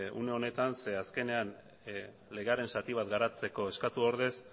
une honetan ze azkenean legearen zati bat garatzeko eskatu ordez